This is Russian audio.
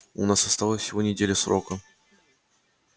у нас осталась всего неделя срока